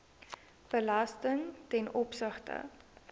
belasting ten opsigte